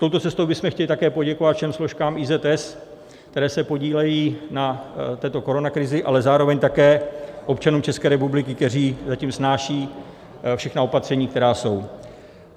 Touto cestou bychom chtěli také poděkovat všem složkám IZS, které se podílejí na této koronakrizi, ale zároveň také občanům České republiky, kteří zatím snášejí všechna opatření, která jsou.